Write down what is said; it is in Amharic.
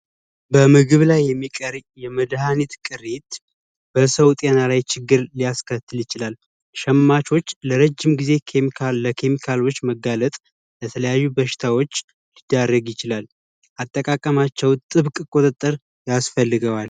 በምግብ ላይ የሚከመድ ቅሪት በሰው ጤና ላይ ችግር ሊያስከትል ይችላል ሸማቾች ለረጅም ጊዜ ኬሚካል ለኪም መጋለጥ የተለያዩ በሽታዎች ያረግ ይችላል አጠቃቀማቸው ጥብቅ ቁጥጥር ያስፈልገዋል።